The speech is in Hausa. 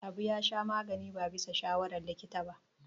Habu ya sha magani ba bisa shawarar likita ba.